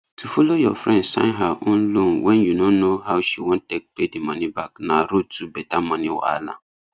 to follow your friend sign her own loanwen you no know how she wan take pay di money back na road to better money wahala